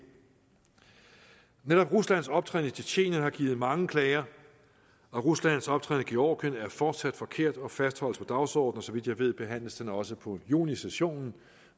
netop ruslands optræden i tjetjenien har givet mange klager og ruslands optræden i georgien er fortsat forkert og fastholdes på dagsordenen og så vidt jeg ved behandles den også på junisessionen